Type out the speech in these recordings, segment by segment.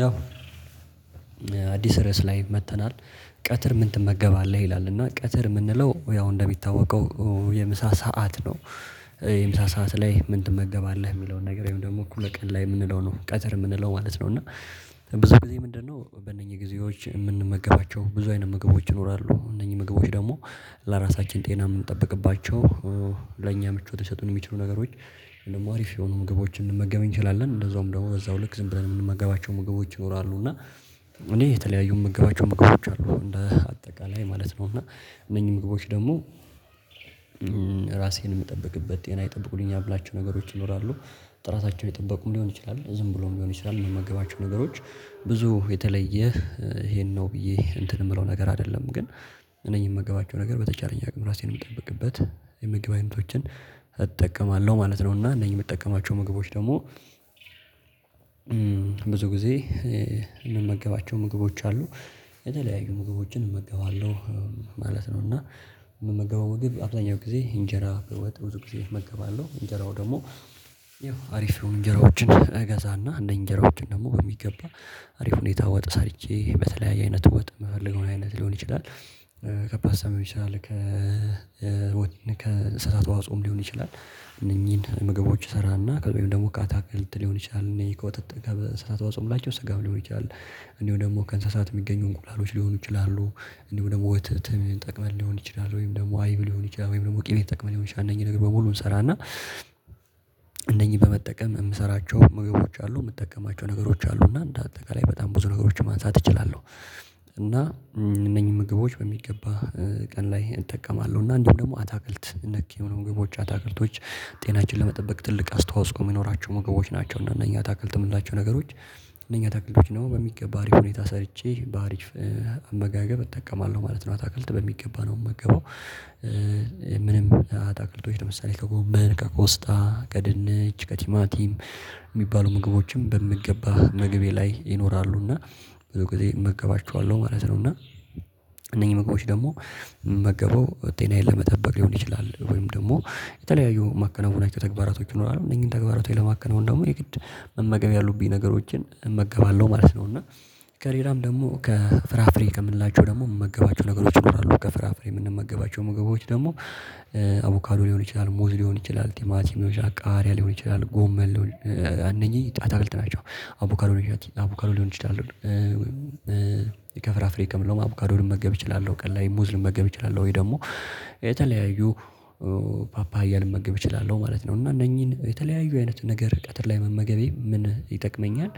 ያው አዲስ ርዕስ ላይ መጥተናል ቀትር ምን ትመገባለህ ይላል? እና ቀትር የምንለው ያው እንደሚታወቀው የምሳ ሰዓት ነው። የምሳ ሰዓት ላይ ምን ትመገባለህ የሚለውን ነገር ደግሞ እኮ ቀን ላይ የምንለው ነው ቀተር የምንለው ማለት ነው። እና ብዙ ጊዜ ምንድነው በእነኚህ ጊዜዎች የምንመገባቸው ብዙ አይነት ምግቦች ይኖራሉ እነኚህ ምግቦች ደግሞ ለራሳችን ጤና የምንጠብቅባቸው ለኛ ምቾት ከሰጡን የሚችሉ ነገሮች ደግሞ አርፍ የሆኑ ምግቦችን ልንመገበን እንችላለን። እንደዛውም ደግሞ በዛው ልክ ዝም ብለን የምንመገባቸው ምግቦች ይኖራሉ እና እኔ የተለያዩ ምግባቸው ምግቦች አሉ እንደ አጠቃላይ ማለት ነው። እና እነኚህ ምግቦች ደግሞ ራሴን የምጠብቅበት ጤና ይጠብቁልኝ ምላችሁ ነገሮች ይኖራሉ ጥራታቸው የጠበቁም ሊሆን ይችላል ዝም ብሎም ሊሆን ይችላል። የምገባቸው ነገሮች ብዙ የተለየ ይሄን ነው ብዬ እንትን የምለው ነገር አይደለም ግን እነኚህን የምገባቸው ነገር በተቻለኝ አቅም ራሴን የምጠብቅበት የምግብ አይነቶችን እጠቀማለሁ ማለት ነው። እና እነኚህ የምጠቀማቸው ምግቦች ደግሞ ብዙ ጊዜ ሚመገባቸው ምግቦች አሉ የተለያዩ ምግቦችን እመገባለሁ ማለት ነው። እና የምመገበው ወግብ አብዛኛው ጊዜ እንጀራ በወጥ ብዙ ጊዜ እመገባለሁ እንጀራው ደግሞ ያው አሪፍ የሆኑ እንጀራዎችን እገዛ እና እንደ እንጀራዎችን ደግሞ በሚገባ አሪፍ ሁኔታ ወጥ ሰርቼ በተለያየ አይነት ወጥ ምፈልገው አይነት ሊሆን ይችላል። ከባድ ሰምቼ ይችላል ከ ወይን ከእንሰሳት ተዋጾም ሊሆን ይችላል። እነኚህን ምግቦች እሰራና ወይም ደግሞ ከአታክልት ሊሆን ይችላል እኔ ከወተተህ ጋር በስራ ተዋጾም ላይ ስጋም ሊሆን ይችላል። እኔ ደግሞ ከእንስሳት የሚገኙ እንቁላሎች ሊሆኑ ይችላሉ እንደውም ደግሞ ወተትም ተጠቅመን ሊሆን ይችላል ወይም ደግሞ አይብ ሊሆን ይችላል ወይም ደግሞ ቅቤ ተጠቅመን ሊሆን ይችላል እነኝህ ነገር በሙሉ እንሰራና። እነኝህን በመጠቀም የምሰራቸው ምግቦች አሉ የምጠቀማቸው ነገሮች አሉ እና እንደ አጠቃላይ በጣም ብዙ ነገሮችን ማንሳት እችላለሁ። እና እነኚህ ምግቦች በሚገባ ቀን ላይ እጠቀማለሁ እና እንዲሁ ደግሞ አታክልት ነክ የሆኑ ምግቦች አታክልቶች ጤናችን ለመጠበቅ ትልቅ አስተዋጽኦ ሚኖራቸው ሞገሮች ናቸው። እና እነኚህ አታክልትን የምንላቸው ነገሮች እነኛ ታክልዶች ደግሞ በሚገባ አሪፍ ሁኔታ ሰርቼ በአሪፍ አመጋገብ እጠቀማለሁ ማለት ነው። አታክልት በሚገባ ነው የምገባው ምንም አታክልቶች ለምሳሌ ከጎመን ከኮስታ ከድንች ከቲማቲም የሚባሉ ምግቦችን በምገባ መገቢያ ላይ ይኖራሉ እና ብዙ ጊዜ እመገባቿለሁ ማለት ነው። እና እነኚህ መግባቶች ደግሞ ምመገበው ጤናዬን ለመጠበቅ ሊሆን ይችላል ወይም ደግሞ የተለያዩ ማከናወናቸው ተግባራቶች ይኖራሉ እነዚህን ተግባራቶች ለማከናወን ደግሞ የግድ መመገብ ያሉብኝ ነገሮችን እመገባለሁ ማለት ነው። እና ከሬራም ደግሞ ከፍራፍሬ ከምንላቸው ደግሞ የምንመገባቸው ነገሮች ይኖራሉ ከፍራፍሬ የምንመገባቸው ምግቦች ደግሞ አቮካዶ ልሆን ይችላል ሙዝ ሊሆን ይችላል ቲማቲሚ ልሆን ይችላል ቃርያ ልሆን ይችላል ጎመን አነኚኝ አታክልቲ ናቸው። አቮካዶ አቮካዶ ልሆን ይችላሉ ከፍራፍሬ ከምንለው አቡካዶ ልመገብ እችላለሁ ቀን ላይ ሙዝ ልመገብ እችላለሁ ወይ ደግሞ የተለያዩ ፓፓያ ልመገብ እችላለሁ ማለት ነው። እና እነኚህን የተለያዩ አይነት ነገር ቀትር ላይ መመገቤ ምን ይጠቅመኛል?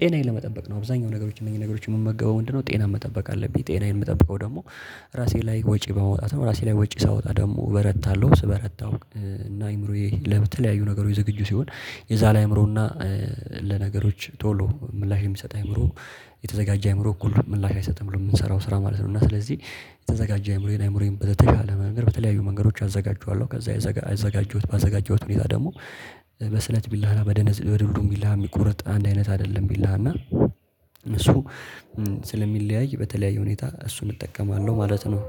ጤናዬን ለመጠበቅ ነው አብዛኛው ነገሮች እነዚህ ነገሮች የምመገበው ምንድ ነው ጤና መጠበቅ አለብኝ ጤናዬን የምጠብቀው ደግሞ ራሴ ላይ ወጪ በመውጣት ነው ራሴ ላይ ወጪ ሳወጣ ደግሞ በረታለሁ። ስበረታው እና አይምሮዬ ለተለያዩ ነገሮች የዝግጁ ሲሆን የዛለ አይምሮና ለነገሮች ቶሎ ምላሽ የሚሰጥ አእምሮ የተዘጋጀ አእምሮ እኩል ምላሽ አይሰጥም ብሎ የምንሰራው ስራ ማለት ነው። እና ስለዚህ የተዘጋጀ አይምሮ የኔ አይምሮዬን በተሻለ መንገድ በተለያዩ መንገዶች አዘጋጀዋለሁ ከዛ አዘጋጀሁት ባዘጋጀሁት ሁኔታ ደግሞ በስለት ቢላ በደነዝ በዱልዶም ቢላ የሚቆርጥ አንድ አይነት አይደለም ቢላ እና እሱ ስለሚለያይ በተለያየ ሁኔታ እሱን እጠቀማለሁ ማለት ነው